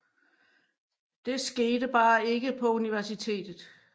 Det skete bare ikke på universitetet